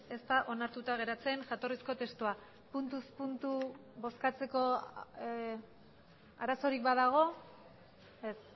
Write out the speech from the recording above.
ez da onartuta geratzen jatorrizko testua puntuz puntu bozkatzeko arazorik badago ez